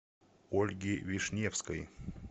ольги вишневской